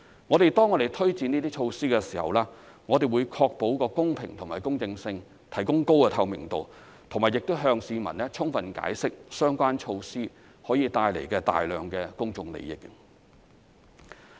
我們推展這些措施的時候，會確保公平和公正性，提供高透明度，並向市民充分解釋相關措施可以帶來的大量公眾利益。